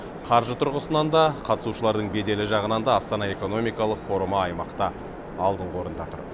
қаржы тұрғысынан да қатысушыларының беделі жағынан да астана экономикалық форумы аймақта алдыңғы орында тұр